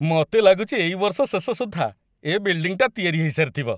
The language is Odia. ମତେ ଲାଗୁଚି ଏଇ ବର୍ଷ ଶେଷ ସୁଦ୍ଧା ଏ ବିଲ୍ଡିଂଟା ତିଆରି ହେଇସାରିଥିବ ।